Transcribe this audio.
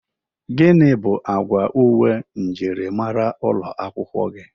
Gini bụ agwa uwe mjịrịmara ụlọ akwụkwọ gị?